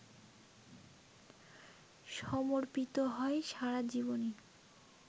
সমর্পিত হয় সারাজীবনই!